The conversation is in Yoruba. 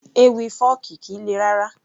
Ewì fọ́ọ̀kì kìí le rárá